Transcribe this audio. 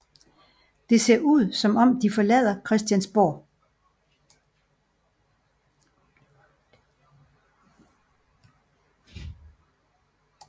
Det ser ud som om de forlader Christiansborg